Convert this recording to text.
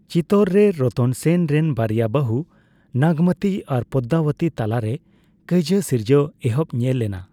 ᱪᱤᱛᱚᱨ ᱨᱮ ᱨᱚᱛᱚᱱ ᱥᱮᱱ ᱨᱮᱱ ᱵᱟᱨᱭᱟ ᱵᱟᱹᱦᱩ, ᱱᱟᱜᱢᱚᱛᱤ ᱟᱨ ᱯᱚᱫᱽᱫᱟᱵᱚᱛᱤ ᱛᱟᱞᱟᱨᱮ ᱠᱟᱹᱭᱡᱟᱹ ᱥᱤᱨᱡᱟᱹᱣ ᱮᱦᱚᱵ ᱧᱮᱞ ᱮᱱᱟ ᱾